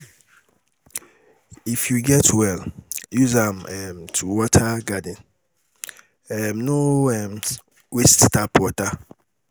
If you get well, use am um to water garden, um no um waste tap water.